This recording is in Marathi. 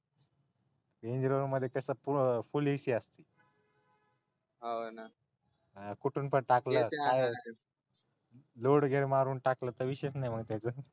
रेंजरोवर मध्ये तस फूल ac असती हा ना कुठून पण टाकली मारून टाकल तर विषयच नाही त्याच्यात